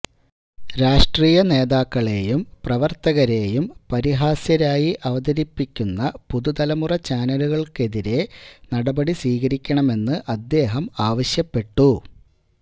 രാഷ്ട്രീയനേതാക്കളേയും പ്രവർത്തകരേയും പരിഹാസ്യരായി അവതരിപ്പിക്കുന്ന പുതുതലമുറചാനലുകൾക്കെതിരെ നടപടി സ്വീകരിക്കണമെന്ന് അദ്ദേഹം ആവശ്യപ്പെട്ടു